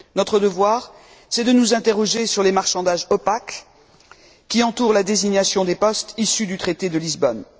Notre devoir, c'est de nous interroger sur les marchandages opaques qui entourent la désignation des postes issus du traité de Lisbonne.